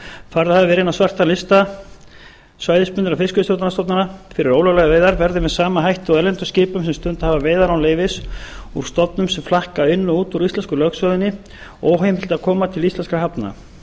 færð hafa verið inn á svarta lista svæðisbundinna fiskveiðistjórnarstofnana fyrir ólöglegar veiðar verði með sama hætti og erlendum skipum sem stundað hafa veiðar án leyfis úr stofnum sem flakka inn og út úr íslensku lögsögunni óheimilt að koma til íslenskra hafna